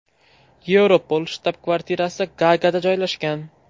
Yevropol shtab-kvartirasi Gaagada joylashgan.